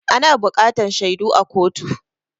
Ana buƙatan shaidu a kotu.